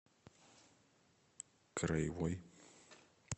краевой